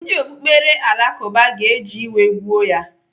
Ndị okpukperechi Alakụba ga-eji iwe gbuo ya.